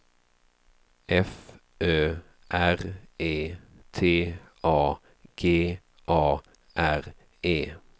F Ö R E T A G A R E